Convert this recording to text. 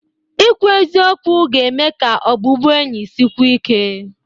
Ịkwu eziokwu ga-eme ka ọbụbụenyi sikwuo ike.